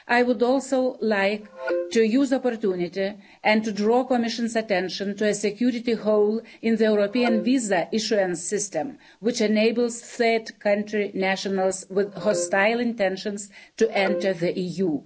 I would also like to use the opportunity and to draw the Commission's attention to a security loophole in the European visa issuance system which enables third country nationals with hostile intentions to enter the EU.